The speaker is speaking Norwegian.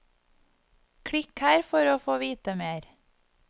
Klikk her for å få vite mer.